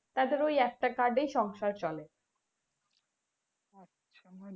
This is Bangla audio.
ওদের ওই একটা card এই সংসার চলে